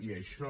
i això